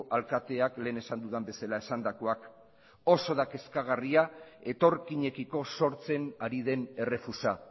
alkateak lehen esan dudan bezala esandakoak oso da kezkagarria etorkinekiko sortzen ari den errefusa